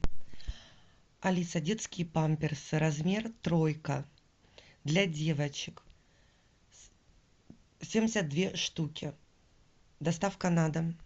алиса детские памперсы размер тройка для девочек семьдесят две штуки доставка на дом